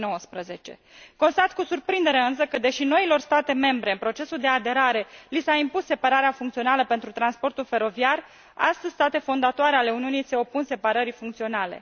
2019. Constat cu surprindere însă că, deși noilor state membre, în procesul de aderare, li s a impus separarea funcțională pentru transportul feroviar, astăzi, state fondatoare ale Uniunii se opun separării funcționale.